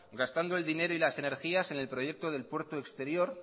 gastando el dinero y las energías en el proyecto del puerto exterior